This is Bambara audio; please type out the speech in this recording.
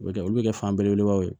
O bɛ kɛ olu bɛ kɛ fan belebelebaw ye